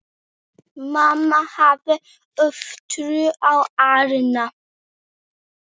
Mamma hafði ofurtrú á Árna.